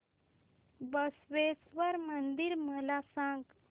बसवेश्वर मंदिर मला सांग